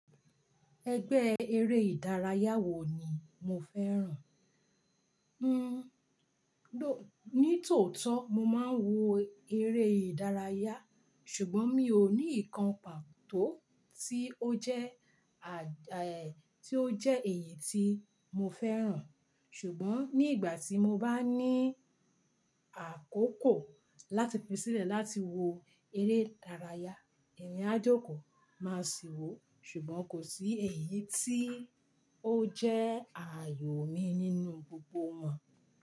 Ẹgbẹ́ eré ìdárayá wo ni mo fẹ́ràn? Hmmm, ló-- ní tòótọ́ mo máa ń wo eré ìdárayá ṣùgbọ́n mi ò ní ìkàn pàtó tí ó jẹ́, à, eh, tí ó jẹ́ èyí tí mo fẹ́ràn. Ṣùgbọ́n ní ìgbà tí mo bá ní àkókò láti pèsé láti wo eré ìdárayá, emi a jo kò máa sì wò. Ṣùgbọ́n kò sí èyí tí ó jẹ́ àyò mi nínú gbogbo wọn.